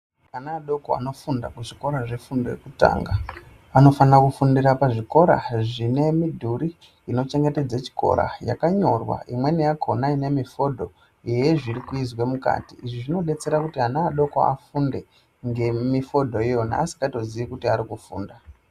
Ana adoko anofunda kuzvikora zvefundo yekutanga, anofana kufunda pazvikora zvine midhuri inochengetedza chikora yakanyorwa imweni yakhona ine mifodho yezvirikuizwe mukati. Izvi zvinodetsera kuti ana adoko afunde ngemifodho iyona asikatozii kuti arikufunda.